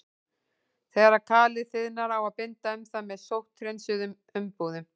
Þegar kalið þiðnar á að binda um það með sótthreinsuðum umbúðum.